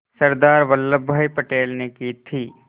सरदार वल्लभ भाई पटेल ने की थी